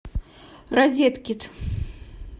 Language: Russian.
розеткид